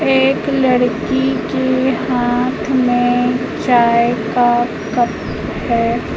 एक लड़की के हाथ में चाय का कप है।